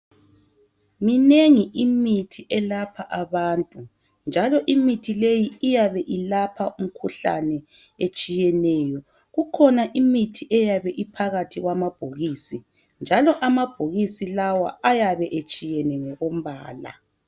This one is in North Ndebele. Minengi imithi elapha abantu, njalo imithi leyi iyabe ilapha imikhuhlane etshiyeneyo. Kukhona imithi eyabe iphakathi kwamabhokisi, njalo amabhokisi lawa, ayabe etshiyene, ngokombala.